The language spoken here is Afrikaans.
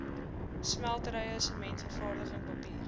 smelterye sementvervaardiging papier